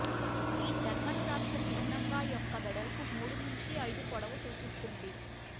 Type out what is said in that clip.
ఈ జర్మన్ రాష్ట్ర చిహ్నంగా యొక్క వెడల్పు మూడు నుంచి ఐదు పొడవు సూచిస్తుంది